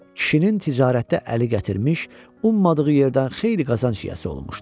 Kişinin ticarətdə əli gətirmiş, ummadığı yerdən xeyli qazanc yiyəsi olmuşdu.